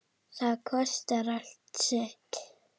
Það kostar allt sitt.